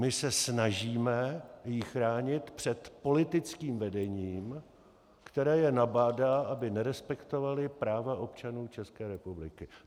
My se snažíme ji chránit před politickým vedením, které je nabádá, aby nerespektovali práva občanů České republiky.